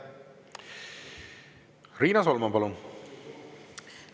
Riina Solman, palun!